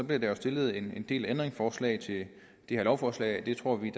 bliver der jo stillet en del ændringsforslag til det her lovforslag og det tror vi i